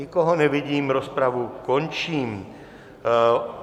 Nikoho nevidím, rozpravu končím.